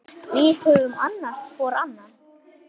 Við höfum annast hvor annan.